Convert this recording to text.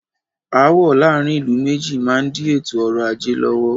Aàwọ̀ láàárín ìlú méjì má n di ètò ọrọ̀ ajé lọ́wọ́.